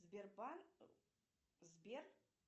сбербанк сбер